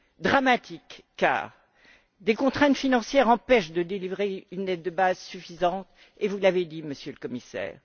Dramatique, car des contraintes financières empêchent de délivrer une aide de base suffisante, vous l'avez dit, Monsieur le Commissaire.